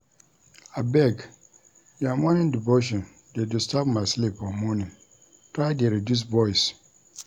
Abeg your morning devotion dey disturb my sleep for morning, try dey reduce voice.